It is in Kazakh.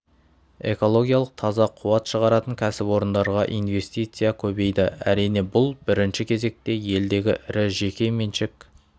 экологиялық таза қуат шығаратын кәсіпорындарға инвестиция көбейді әрине бұл бірінші кезекте елдегі ірі жеке меншік